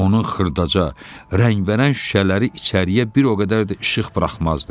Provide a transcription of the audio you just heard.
Onun xırdaca rəngbərəng şüşələri içəriyə bir o qədər də işıq buraxmazdı.